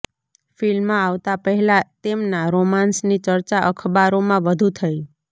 film આવતાં પહેલાં તેમના રોમાન્સની ચર્ચા અખબારોમાં વધુ થઈ